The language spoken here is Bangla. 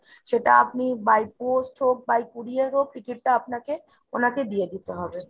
সেটা আপনি by post হোক by courier হোক ticket টা আপনাকে ওনাকে দিয়ে দিতে হবে।